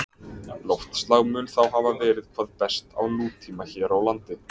Loftslag mun þá hafa verið hvað best á nútíma hér á landi.